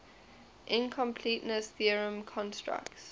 incompleteness theorem constructs